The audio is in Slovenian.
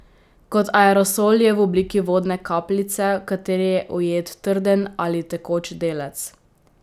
Kot aerosol je v obliki vodne kapljice, v kateri je ujet trden ali tekoč delec.